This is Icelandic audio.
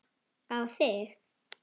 Á þig.